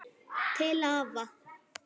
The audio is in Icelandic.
Til afa.